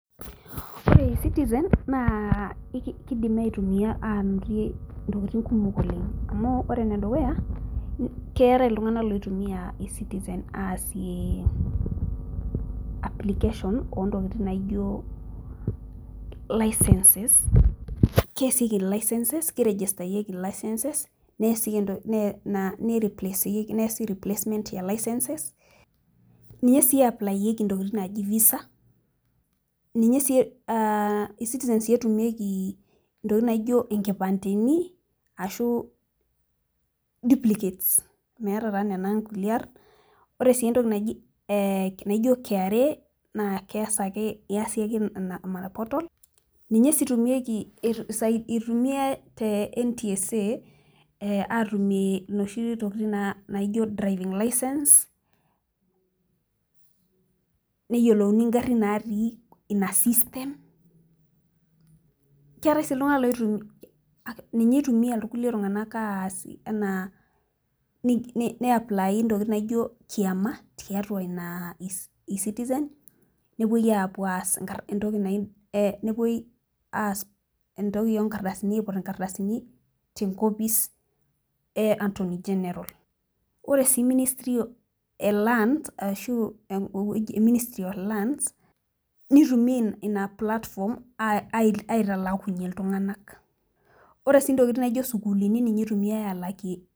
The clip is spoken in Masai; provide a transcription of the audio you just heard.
ore e-citizen naakidim aitumia aanotie ntokitin kumok oleng. amu ore ene dukuya, keetae iltungank loitumia e-citizen aasie, application oontokitin naijo license keesieki licenses kiregistayieki licenses[ neesi replacement license ninye sii eaplaeki ntokitin naaji visa ninye sii e-citizen sii eaplayieki ntokitin naijo nkipandeni, ashu diplicates meeta taa nena nkulie aarn. ore sii entoki naji naijo kra naa kees ake iasie ake ina portal ninye sii etumieki, itumiae te ntsa aatumie inoshi tokitin naijo, driving license neyiolouni garin natii ina system ninye itumia irkulie tungank aasi anaa ne apply ntokitin naijo kiama, tiatua ina e-citizen nepuoi aas intoki naj nepuooi as entoki oo nkarasini aiput inkardasini te ntoki e attorney general. ore sii ministry e land ashu eweuji e ministry of lands. nitumia inatoki aitalakunye iltunganak. ore sii ntokitin naijo sukuulini ninye itumiae aalakie.